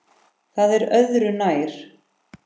Það er öðru nær.